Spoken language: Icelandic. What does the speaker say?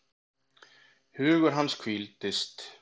Hugur hans hvíldist.